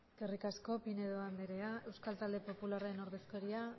eskerrik asko pinedo anderea euskal talde popularraren ordezkaria